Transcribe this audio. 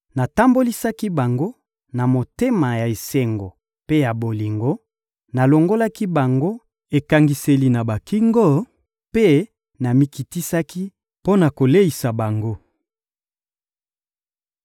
Natambolisaki bango na motema ya esengo mpe ya bolingo; nalongolaki bango ekangiseli na bakingo mpe namikitisaki mpo na koleisa bango.